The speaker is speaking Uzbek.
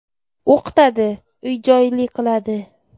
O‘qitadi, uy-joyli qiladi.